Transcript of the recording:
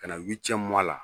Ka na la